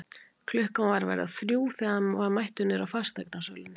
Klukkan var að verða þrjú þegar hann var mættur niðri í fasteignasölunni.